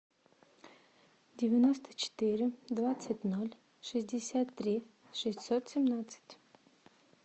девяносто четыре двадцать ноль шестьдесят три шестьсот семнадцать